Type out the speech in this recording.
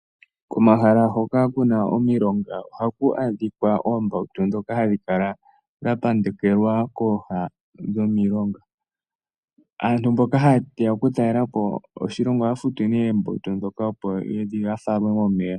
Komahala hoka kuna omilonga ohaku adhika oombawutu dhoka hadhikala dhapandekelwa kooha dhomilonga. Aantu mboka hayeya okutalela po oshilongo ohaya futu ne oombawutu dhoka opo yafalwe momeya.